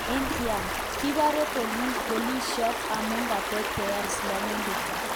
India:Kipore Polisiot amu katetea Islamindet